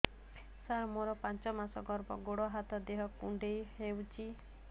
ସାର ମୋର ପାଞ୍ଚ ମାସ ଗର୍ଭ ଗୋଡ ହାତ ଦେହ କୁଣ୍ଡେଇ ହେଉଛି